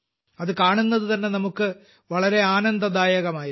അതു കാണുന്നതുതന്നെ നമുക്ക് വളരെ ആനന്ദദായകമായിരുന്നു